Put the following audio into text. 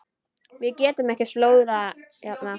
Við getum ekki slórað hérna.